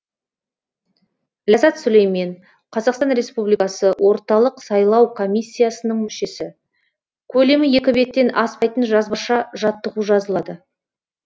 ләззат сүлеймен қазақстан республикасы орталық сайлау комиссиясының мүшесі көлемі екі беттен аспайтын жазбаша жаттығу жазылады